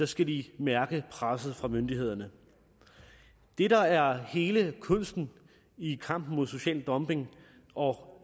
skal de mærke presset fra myndighederne det der er hele kunsten i kampen mod social dumping og